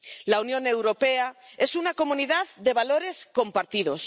La Unión Europea es una comunidad de valores compartidos.